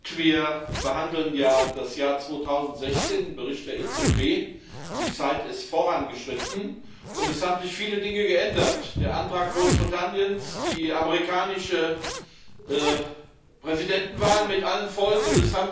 Herr Präsident! Wir behandeln ja das Jahr 2016 den Bericht der EZB. Die Zeit ist vorangeschritten und es haben sich viele Dinge geändert der Antrag Großbritanniens, die amerikanische Präsidentenwahl mit allen Folgen.